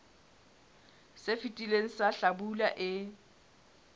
se fetileng sa hlabula e